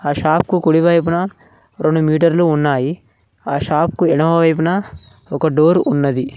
ఆ షాప్ కు కుడివైపున రెండు మీటర్లు ఉన్నాయి ఆ షాప్ కు ఎనమవైపున ఒక డోర్ ఉన్నది.